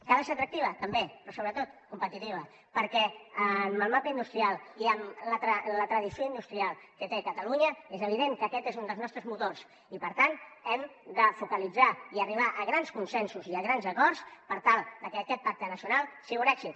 que ha de ser atractiva també però sobretot competitiva perquè amb el mapa industrial i amb la tradició industrial que té catalunya és evident que aquest és un dels nostres motors i per tant hem de focalitzar i arribar a grans consensos i grans acords per tal que aquest pacte nacional sigui un èxit